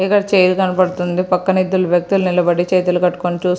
ఇక్కడ చైర్ కనబడుతుంది పక్కన ఇద్దరు వ్యక్తులు నిలబడి చేతులు కట్టుకొని చూస్ --